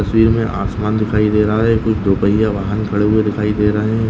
तस्वीर मे आसमान दिखाई दे रहा है कुछ झोपड़ी या वाहन खड़े हुए दिखाई दे रहे है।